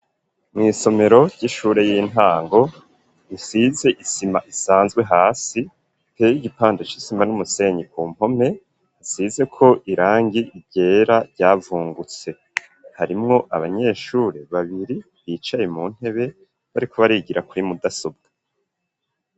Mw'isomero ry'ishure y'intango isize isima isanzwe hasi iteye igipanda c'isima n'umusenyi ku mpome hasizeko irangi ryera ryavungutse harimwo abanyeshure babiri bicaye mu ntebe bariko barigira kuri mudasobwa.